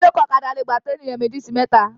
Ìjòkó ọ̀kadà lè gbà to ènìyàn méjì sí mẹta.